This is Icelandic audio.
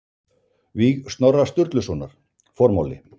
Víg Snorra Sturlusonar Formáli